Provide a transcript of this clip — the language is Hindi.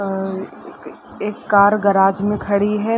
अ अ एक कार गराज में खड़ी है।